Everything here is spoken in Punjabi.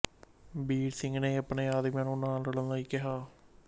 ਬੀਰ ਸਿੰਘ ਨੇ ਆਪਣੇ ਆਦਮੀਆਂ ਨੂੰ ਨਾ ਲੜਨ ਲਈ ਕਿਹਾ